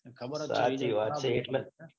ખબર હતી. એટલા